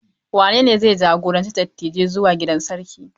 Wanene zai jagoranci dattijai zuwa gidan sarki?